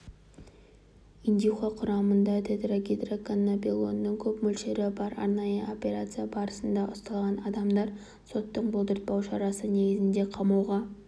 индюха құрамында тетрагидроканнабинолдың көп мөлшері бар арнайы операция барысында ұсталған адамдар соттың бұлтартпау шарасы негізінде қамауға